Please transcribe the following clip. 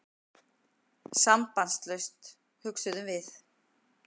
Sambandslaust, hugsuðum við.